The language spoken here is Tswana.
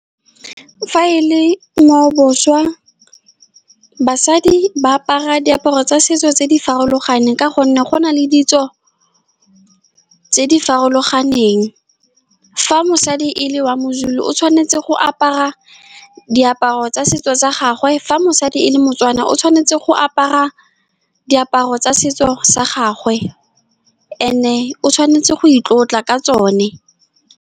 Fa e le ngwaoboswa, basadi ba apara diaparo tsa setso tse di farologaneng ka gonne go na le ditso tse di farologaneng. Fa mosadi e le wa moZulu, o tshwanetse go apara diaparo tsa setso sa gagwe. Fa mosadi e le Motswana, o tshwanetse go apara diaparo tsa setso sa gagwe, and-e o tshwanetse go itlotla ka tsone.